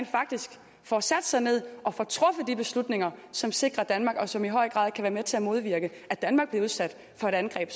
faktisk får sat sig ned og får truffet de beslutninger som sikrer danmark og som i høj grad kan være med til at modvirke at danmark bliver udsat for et angreb